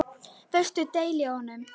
Veistu deili á honum?